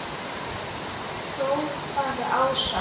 hrópaði Ása.